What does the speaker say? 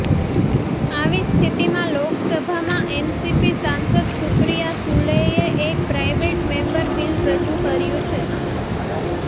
આવી સ્થિતિમાં લોકસભામાં એનસીપી સાંસદ સુપ્રિયા સુલેએ એક પ્રાઇવેટ મેમ્બર બિલ રજુ કર્યું છે